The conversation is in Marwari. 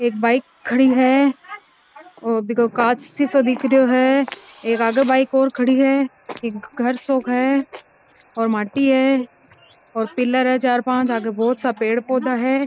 एक बाइक खड़ी है और बिको कांच शीसो दिख रो है एक आगे बाइक और खड़ी है एक घर सो है और माटी है पिलर है चार पांच आगे बहोत सो पेड़ पौधा है।